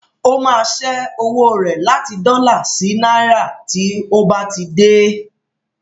Ó máa ṣẹ́ owó rẹ̀ láti dọ́là sí náírà tí ó bá ti dé.